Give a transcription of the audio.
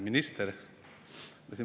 Minister!